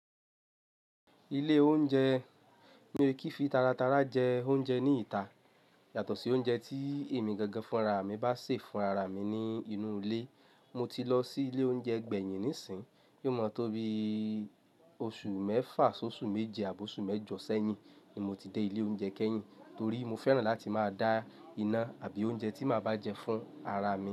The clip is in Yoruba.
Ilé oúnjẹ mí o kífì taratara jẹ oúnjẹ ní ìta, yàtọ̀ sí oúnjẹ tí èmi gangan fúnra mi bá ṣe fúnra mi nínú ilé. Mo ti lọ sí ilé oúnjẹ gbẹ̀yìn nísìínyi, yóò mọ̀ tó bí oṣù mẹ́fa sọ́ṣù méje àbọ́ oṣù mẹ́jọ̀ sẹ́yìn ni mo ti dé ilé oúnjẹ kẹ́yìn torí mo fẹ́ràn láti máa dá iná àbí oúnjẹ tí máa bá jẹ fún ara mi.